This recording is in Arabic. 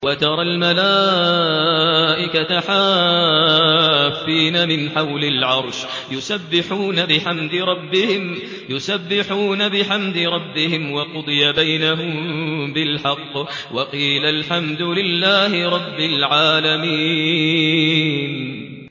وَتَرَى الْمَلَائِكَةَ حَافِّينَ مِنْ حَوْلِ الْعَرْشِ يُسَبِّحُونَ بِحَمْدِ رَبِّهِمْ ۖ وَقُضِيَ بَيْنَهُم بِالْحَقِّ وَقِيلَ الْحَمْدُ لِلَّهِ رَبِّ الْعَالَمِينَ